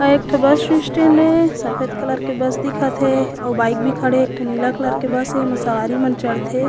अउ एक ठो बस स्टेन्ड हे सफ़ेद कलर के बस दिखत हे अउ बाइक भी खड़े हे नीला कलर के बस हे एमा सवारी मन चढ़ते।